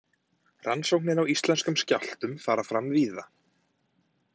Rannsóknir á íslenskum skjálftum fara fram víða.